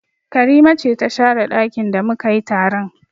Karima ce ta share ɗakin da mu ka yi taron